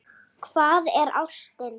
Hvað er ástin?